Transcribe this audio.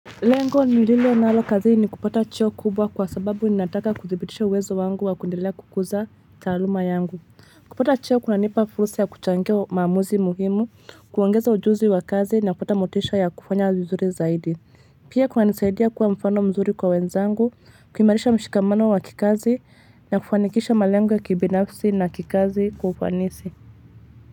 Lengo nililionalo kazi ni kupata cheo kubwa kwa sababu ninataka kuzibitisha uwezo wangu wa kuendelea kukuza taluma yangu. Kupata cheo kunanipa fursa ya kuchangea maamuzi muhimu, kuongeza ujuzi wa kazi na kupata motisha ya kufanya vizuri zaidi. Pia kunanisaidia kuwa mfano mzuri kwa wenzangu, kuimarisha mshikamano wa kikazi na kufanikisha malengo ya kibinafsi na kikazi kufanisi.